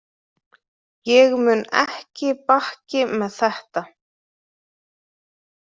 Ég mun ekki bakki með þetta.